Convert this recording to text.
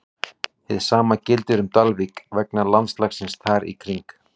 Hið sama gildir um Dalvík vegna landslagsins þar í kring.